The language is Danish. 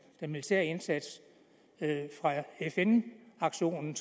militære indsats fra fn aktionen